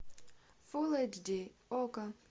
фул эйч ди окко